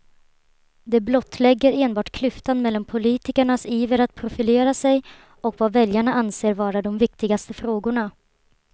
Det blottlägger enbart klyftan mellan politikernas iver att profilera sig och vad väljarna anser vara de viktigaste frågorna.